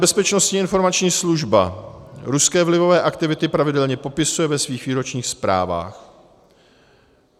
Bezpečnostní informační služba ruské vlivové aktivity pravidelně popisuje ve svých výročních zprávách.